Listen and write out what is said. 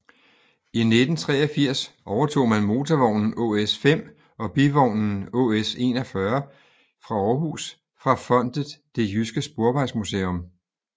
I 1983 overtog man motorvognen ÅS 5 og bivognen ÅS 41 fra Aarhus fra fondet Det Jyske Sporvejsmuseum